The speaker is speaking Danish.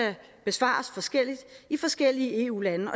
besvares forskelligt i forskellige eu lande og